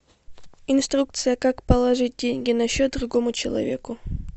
инструкция как положить деньги на счет другому человеку